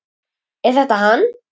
Er þetta hann?